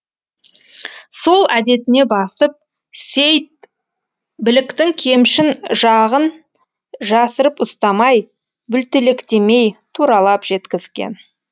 сол әдетіне басып сейд біліктің кемшін жағын жасырып ұстамай бүлтелектемей туралап жеткізген